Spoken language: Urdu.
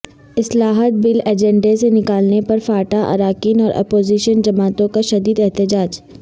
اصلاحات بل ایجنڈے سے نکالنے پر فاٹا اراکین اور اپوزیشن جماعتوں کا شدید احتجاج